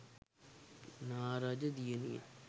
නා රජ දියණිය